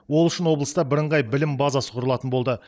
ол үшін облыста бірыңғай білім базасы құрылатын болды